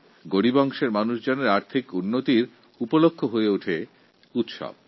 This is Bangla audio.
সমাজের দরিদ্র শ্রেণির মানুষের রোজগারের উপায় হল উৎসব